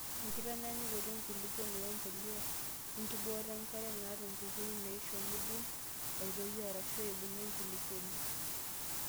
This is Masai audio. Enkitanyanyukoto enkulupuoni wembuliyaa, wenkibooto enkare naata nkukuni naishiu neidim aitoyi arashu ebungie enkulukuoni.